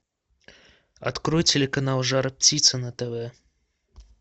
открой телеканал жар птица на тв